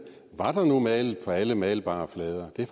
var der nu malet på alle malbare flader det er